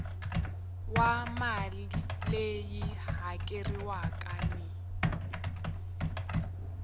wa mali leyi hakeriwaka ni